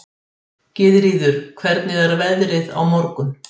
Gyðríður, hvernig er veðrið á morgun?